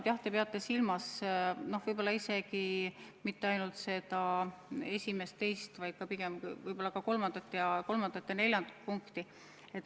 Ma saan aru, et te peate silmas võib-olla isegi mitte ainult esimest ja teist, vaid ka kolmandat ja neljandat punkti.